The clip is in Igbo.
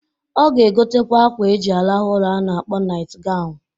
Ọ ga-egotakwa akwa eji arahụ ụra a na-akpọ nait ganwụ.